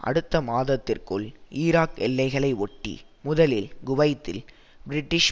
அடுத்த மாதத்திற்குள் ஈராக் எல்லைகளை ஒட்டி முதலில் குவைத்தில் பிரிட்டிஷ்